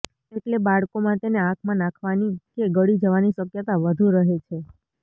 એટલે બાળકોમાં તેને આંખમાં નાખવાની કે ગળી જવાની શક્યતા વધુ રહે છે